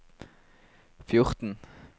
fjorten